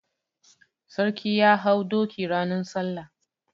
Sarki ya hau doki ranan salla.